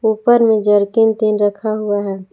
ऊपर में रखा हुआ है।